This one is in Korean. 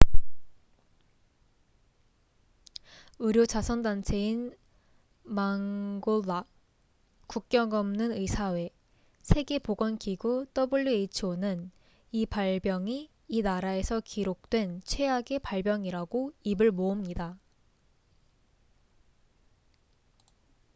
의료 자선 단체인 mangola 국경 없는 의사회 세계보건기구who는 이 발병이 이 나라에서 기록된 최악의 발병이라고 입을 모읍니다